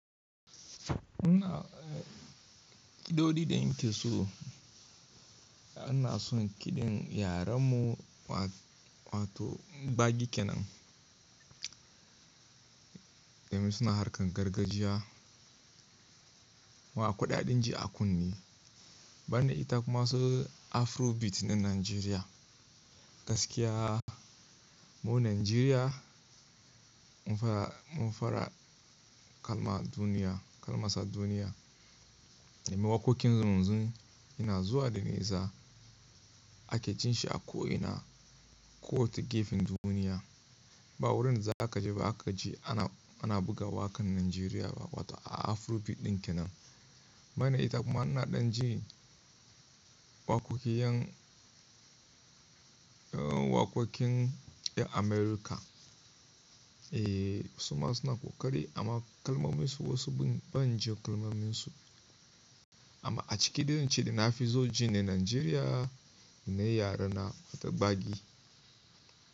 Ina, kiɗoɗin da in ke so, ina son kiɗin yaren mu wato gbagi kenan. Domin suna harkan gargajiya akwai dadin ji a kunne. Banda ita kuma su Afrobeat na Najeriya. Gaskiya mu Najeriya mun fara, mun fara kalma duniya, kalmasa duniya. Domin wakokin zunzun yana zuwa da nesa ake jin shi a ko ina ko wata gefen duniya. Ba wurin da za ka je ba aka ji ana, ana buga wakan Najeriya ba wato a Afrobeat din kenan. Banda ita kuma ina ɗan ji wakokin yan, eh, wakokin yan Amurka. Eh, suma suna ƙoƙari amma kalmomin su wasu ban, ban ji kalmomin su. Amma a ciki dai in ce da na fi so ji shine Najeriya da na yare na wato gbagi.